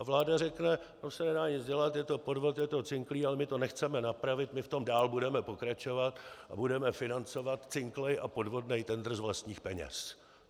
A vláda řekne, to se nedá nic dělat, je to podvod, je to cinklý, ale my to nechceme napravit, my v tom dál budeme pokračovat a budeme financovat cinklej a podvodnej tendr z vlastních peněz.